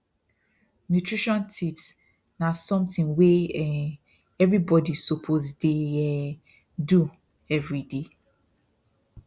nutrition tips na something wey um everybody suppose dey um do every day